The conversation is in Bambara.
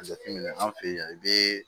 Jateminɛ an fɛ yan i bɛ